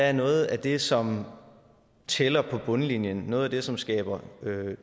er noget af det som tæller på bundlinjen noget af det som skaber